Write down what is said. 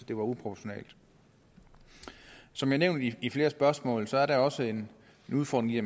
det var uproportionalt som nævnt i i flere spørgsmål er der også en udfordring i